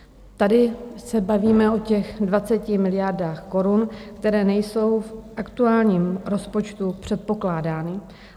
Tady se bavíme o těch 20 miliardách korun, které nejsou v aktuálním rozpočtu předpokládány.